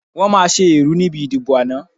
Wọ́n máa ṣe ẹ̀rú níbi ìdìbò náà.